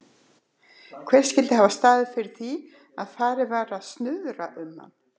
Hver skyldi hafa staðið fyrir því, að farið var að snuðra um hann?